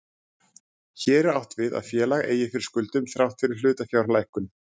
Hér er átt við að félag eigi fyrir skuldum þrátt fyrir hlutafjárlækkun.